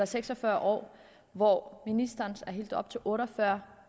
seks og fyrre år hvor ministerens forslag går helt op til otte og fyrre